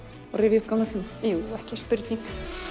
og rifja upp gamla tíma jú ekki spurning